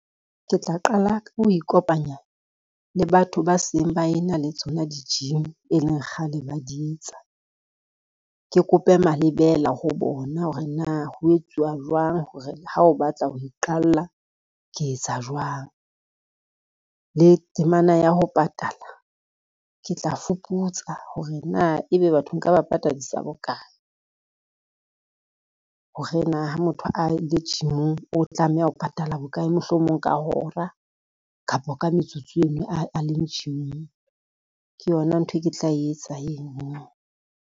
Ke tla qala ka ho ikopanya le batho ba seng ba e na le tsona di-gym, e leng kgale ba di tsa. Ke kope malebela ho bona hore na ho etsuwa jwang hore ha o batla ho iqalla, ke etsa jwang le temana ya ho patala ke tla fuputsa hore na ebe batho nka ba patadisa bokae. Ha rena ha motho a le gym-ing o tlameha ho patala bokae, mohlomong ka hora kapa ka metsotso eno a leng gym-ing, ke yona ntho e ke tla etsa eno.